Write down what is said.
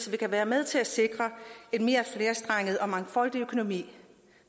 vi kan være med til at sikre en mere flerstrenget og mangfoldig økonomi